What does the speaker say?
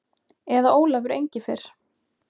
Eða Ólafur Engifer.